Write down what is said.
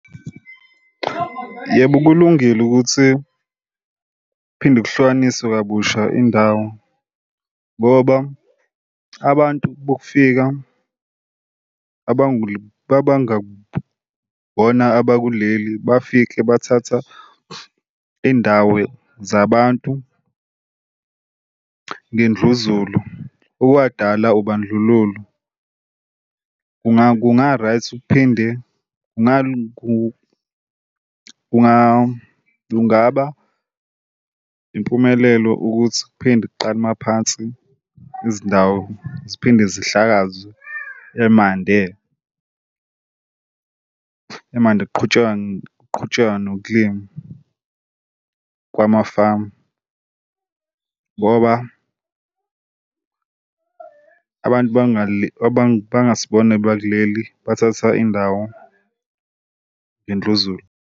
Yebo, kulungile ukuthi phinde kuhlukaniswe kabusha indawo ngoba abantu bokufika abangakubona abakuleli bafike bathatha indawo zabantu ngendluzulu ukuwadala ubandlululo. Kungalunga right kuphinde kungaba impumelelo ukuthi kuphinde kuqale maphansi izindawo ziphinde zihlakazwe emande emandi kuqhutshekwe kuqhutshekwe nokulima kwamafamu ngoba abantu abangasibona bakuleli bathatha indawo ngendluzula.